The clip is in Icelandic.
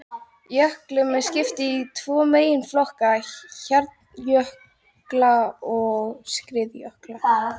Jöklum er skipt í tvo meginflokka, hjarnjökla og skriðjökla.